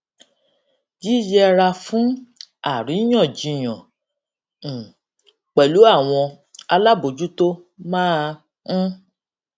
yíyẹra fún àríyànjiyàn um pẹlú àwọn alábòójútó máa ń